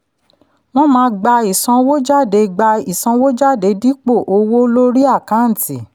wọ́n máa gba ìsanwójádé gba ìsanwójádé dípò owó lórí àkáǹtì.